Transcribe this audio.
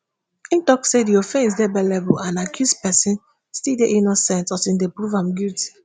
e tok say di offence dey bailable and accused pesin still dey innocent until dem prove am guilty.